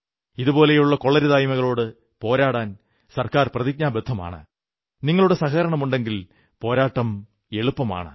ഇതുപോലുള്ള കൊള്ളരുതായ്മകളോടു പോരാടാൻ സർക്കാർ പ്രതിജ്ഞാബദ്ധമാണ് നിങ്ങളുടെ സഹകരണമുണ്ടെങ്കിൽ പോരാട്ടം എളുപ്പമാണ്